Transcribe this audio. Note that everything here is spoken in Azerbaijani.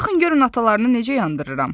"Baxın görün atalarını necə yandırıram."